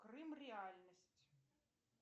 крым реальность